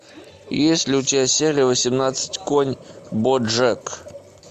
есть ли у тебя серия восемнадцать конь боджек